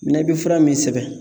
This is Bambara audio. Minɛ i bɛ fura min sɛbɛn